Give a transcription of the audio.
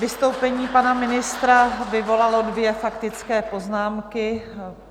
Vystoupení pana ministra vyvolalo dvě faktické poznámky.